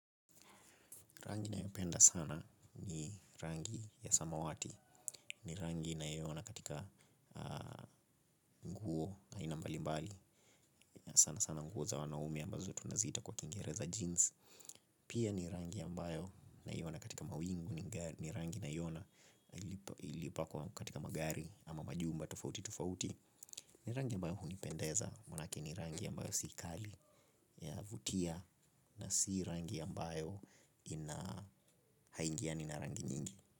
Rangi nayopenda sana ni rangi ya samawati. Ni rangi ninayoiona katika nguo aina mbali mbali na sana sana nguo za wanaume ambazo tunaziita kwa kiingereza jeans. Pia ni rangi ambayo naiona katika mawingu. Ni rangi naiona ilipakwa katika magari ama majumba tofauti tofauti. Ni rangi ya ambayo hunipendeza mwanake ni rangi ambayo si kali huvutia na si rangi ambayo ina haiingiani na rangi nyingi.